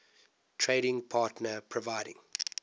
trading partner providing